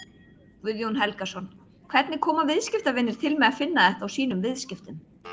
Guðjón Helgason: Hvernig koma viðskiptavinir til með að finna þetta á sínum viðskiptum?